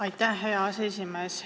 Aitäh, hea aseesimees!